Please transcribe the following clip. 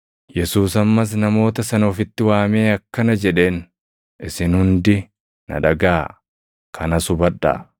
Yesuus ammas namoota sana ofitti waamee akkana jedheen; “Isin hundi na dhagaʼaa; kanas hubadhaa.